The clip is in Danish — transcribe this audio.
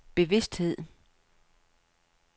bevidsthed